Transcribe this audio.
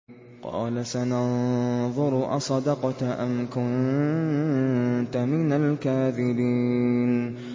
۞ قَالَ سَنَنظُرُ أَصَدَقْتَ أَمْ كُنتَ مِنَ الْكَاذِبِينَ